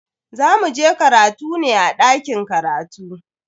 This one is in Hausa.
Za muje karatu ne a dakin karatu.